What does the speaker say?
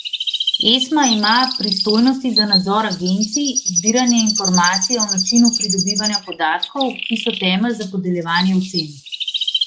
Esma ima pristojnosti za nadzor agencij, zbiranje informacij o načinu pridobivanja podatkov, ki so temelj za podeljevanje ocen.